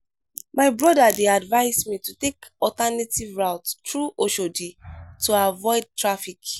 my brother dey advise me to take alternative route through oshodi to avoid traffic.